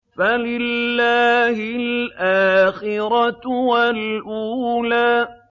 فَلِلَّهِ الْآخِرَةُ وَالْأُولَىٰ